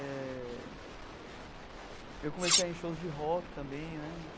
É... Eu comecei a ir em shows de rock também, né?